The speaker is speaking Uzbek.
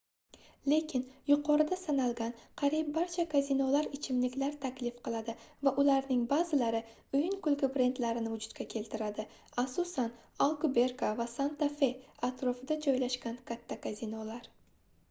lekin yuqorida sanalgan qariyb barcha kazinolar ichimliklar taklif qiladi va ularning ba'zilari o'yin-kulgi brendlarini vujudga keltiradi asosan alkuberka va santa-fe atrofida joylashgan katta kazinolar